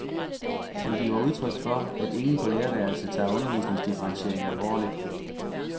Han giver udtryk for, at ingen på lærerværelset tager undervisningsdifferentiering alvorligt.